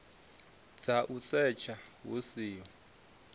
dza u setsha hu siho